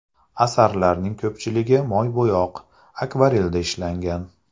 Asarlarning ko‘pchiligi moybo‘yoq, akvarelda ishlangan.